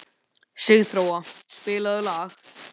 Sigþóra, spilaðu lag.